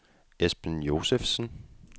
Esben Josefsen